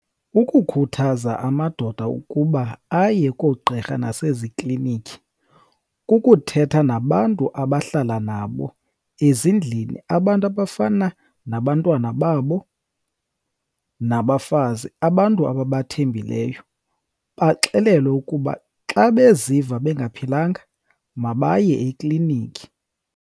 Ukukhuthaza amadoda ukuba aye koogqirha naseziklinikhi kukuthetha nabantu abahlala nabo ezindlini. Abantu abafana nabantwana babo nabafazi, abantu ababathembileyo, baxelelwe ukuba xa beziva bengaphilanga mabaye ekliniki.